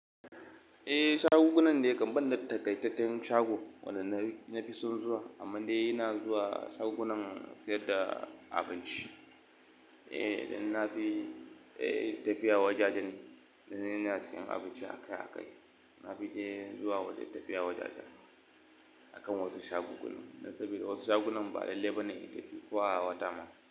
Eh shaguggunan dai kam banda takaitattten shago, wanda na fi son zuwa amman dai ina zuwa shagunan siyar da abinci. Eh, idan na fi, eh tafiya wajajen da ina siyan abinci akai akai. Na fi je zuwa wajen tafiya wajajen akan wasu shaguggunan. Dan saboda wasu shagunan ba lallai bane in tafi ko a wata ma.